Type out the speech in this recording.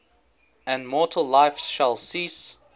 and mortal life shall cease